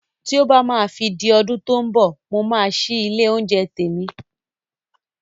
Tí ó bá máa fi di ọdún tó mbọ̀, mo máa ṣí ilé oúnjẹ tèmi